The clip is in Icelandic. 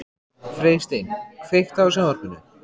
Freysteinn, kveiktu á sjónvarpinu.